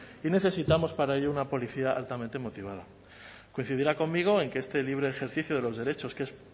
y necesitamos para ello una policía altamente motivada coincidirá conmigo en que este libre ejercicio de los derechos que es